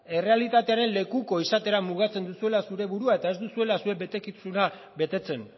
errealitatearen lekuko izatera mugatzen duzuela zure burua eta ez duzuela zuen betekizuna betetzen